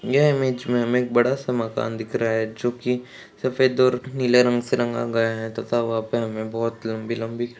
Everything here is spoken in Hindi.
यह इमेज मे हमे एक बड़ा सा मकान दिख रहा है जोकि सफेद और नीले रंग से रंगा गया है थता वहां पे हमे बहौत लंबी लंबी --